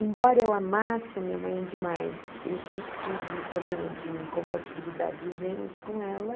Embora eu amasse a minha mãe demais, eu sempre tive um problema de incompatibilidade de gênios com ela.